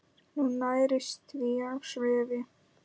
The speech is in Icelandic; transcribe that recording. Hún nærist því á svifi.